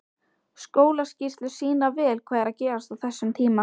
Skólaskýrslur sýna vel hvað er að gerast á þessum tíma.